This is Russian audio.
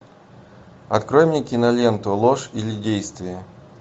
открой мне киноленту ложь или действие